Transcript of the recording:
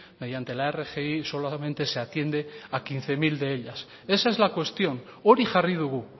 mediante la rgi solamente se atiende a quince mil de ellas esa es la cuestión hori jarri dugu